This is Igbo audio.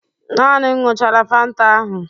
Naani m ñyuchara fanta ahụ